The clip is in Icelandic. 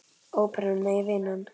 Óperan, nei vinan.